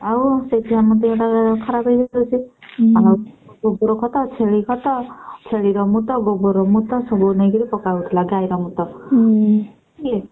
ଆଉ ସେଇଥିପାଇଁ ଆମ ଦେହଟା ଖରାପ ଆଉ ଖତ ଛେଳି ଖତ ଛେଳିର ମୁତ ଗୋବରର ମୁତ ସବୁ ନେଇକିରି ପକାହଉଥିଲା ଗାଈର ମୁତ ।